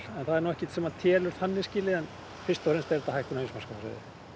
það er ekkert sem telur þannig en fyrst og fremst er þetta hækkun á heimsmarkaðsverði